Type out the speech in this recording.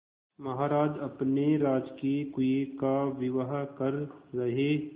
महाराज अपने राजकीय कुएं का विवाह कर रहे